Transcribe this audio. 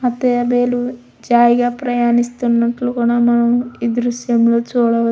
హ తాబేలు జాయిగా ప్రవహిస్తునట్టు మనం ఈ దృశ్యంలో చూడవో--